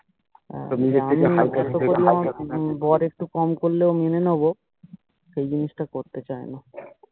বড় একটু কম করলেও মেনে নেবো সেই জিনিসটা করতে চাইনা